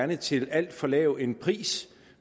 det til alt for lav en pris